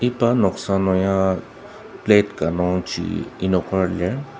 iba noksa nung ya plate ka nung chi enoker lir.